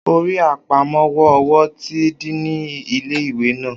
O rí àpamọ́wọ́ owó ti díìnì ilé ìwé naa